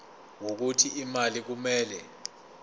wokuthi imali kumele